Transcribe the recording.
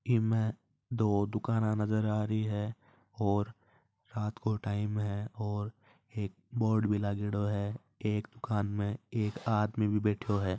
इस मे दो दुकान नज़र आ रही है और रात को टाइम है और एक बोर्ड भी लागेड़ो है एक दुकान में एक आदमी भी बेठो है।